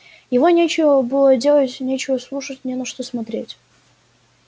его нечего было делать нечего слушать не на что смотреть